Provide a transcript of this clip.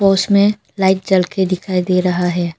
उसमे लाइट जल के दिखायी दे रहा है।